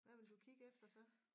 Hvad vil du kigge efter så